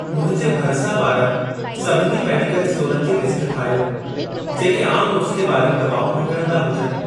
मुंहिंजे भरिसां वारनि सभिनी मेडिकल स्टोरनि जी लिस्ट ठाहियो, जेके आम नुस्ख़े वारियूं दवाऊं विकिणंदा हुजनि।